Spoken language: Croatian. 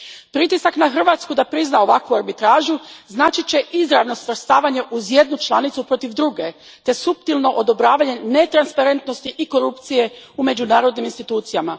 Pritisak na Hrvatsku da prizna ovakvu arbitražu značit će izravno svrstavanje uz jednu članicu protiv druge te suptilno odobravanje netransparentnosti i korupcije u međunarodnim institucijama.